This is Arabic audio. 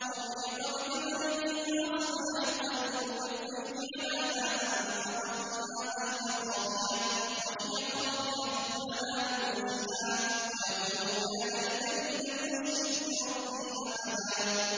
وَأُحِيطَ بِثَمَرِهِ فَأَصْبَحَ يُقَلِّبُ كَفَّيْهِ عَلَىٰ مَا أَنفَقَ فِيهَا وَهِيَ خَاوِيَةٌ عَلَىٰ عُرُوشِهَا وَيَقُولُ يَا لَيْتَنِي لَمْ أُشْرِكْ بِرَبِّي أَحَدًا